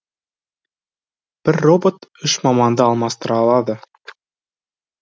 бір робот үш маманды алмастыра алады